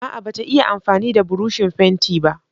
A'a bata iya amfani da burushin fenti ba.